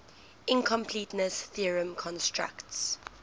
incompleteness theorem constructs